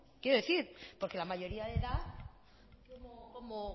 quiero decir porque la mayoría de edad